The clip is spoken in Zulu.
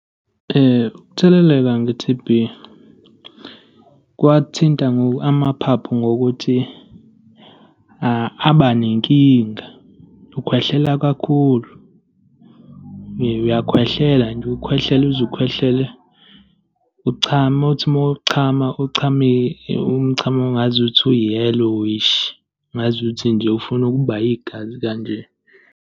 Ukutheleleka nge-T_B kwathinta amaphaphu ngokuthi aba nenkinga, ukhwehlela kakhulu. Uyakhwehlela nje, ukhwehlele uze ukhwehlele, uchame. Uthi uma uchama, uchame umchamo ongazuthi u-yellowish, ongazuthi nje ufuna ukuba igazi kanje.